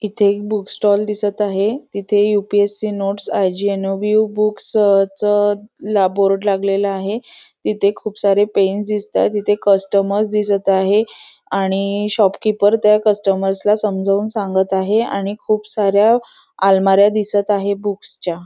इथे एक book stall दिसत आहे तिथे U P S C notes I G N O B O books अ च बोर्ड लागलेला आहे तिथे खूप सारे पेन दिसतायत तिथे कस्टमर्स दिसत आहे आणि शॉप कीपर त्या कस्टमर्स ला समजावून सांगत आहे आणि खूप साऱ्या आलमाऱ्या दिसत आहे बुक्स च्या.